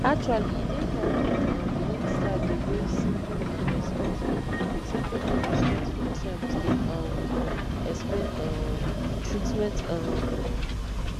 actually e dey helpful um wen staff dey use simple and respectful simple and respectful terms dey um explain um treatment um